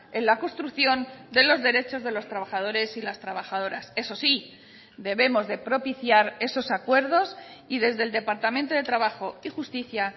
en la construcción de los derechos de los trabajadores y las trabajadoras eso sí debemos de propiciar esos acuerdos y desde el departamento de trabajo y justicia